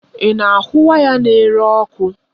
Ị na ahụ waya n'ere ọkụ?